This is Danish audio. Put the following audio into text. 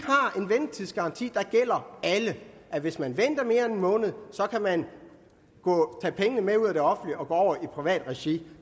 har en ventetidsgaranti der gælder alle hvis man venter mere end en måned kan man tage pengene med ud af det offentlige og gå over i privat regi